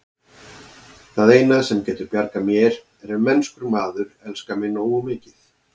Það eina, sem getur bjargað mér, er ef mennskur maður elskar mig nógu mikið.